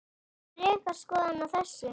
Hver er ykkar skoðun á þessu?